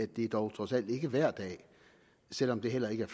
det dog trods alt ikke er hver dag selv om det heller ikke er